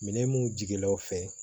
Minɛn mun jigilaw fɛ